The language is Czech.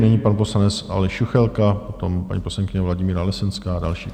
Nyní pan poslanec Aleš Juchelka, poté paní poslankyně Vladimíra Lesenská a další.